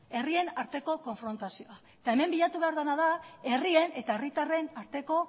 herrien arteko konfrontazioa hemen bilatu behar dena da herrien eta herritarren arteko